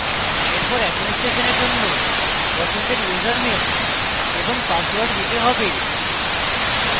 এরপর administrator জন্য পছন্দের ইউসারনেম এবং পাসওয়ার্ড দিতে have